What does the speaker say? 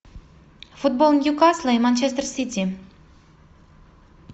футбол ньюкасла и манчестер сити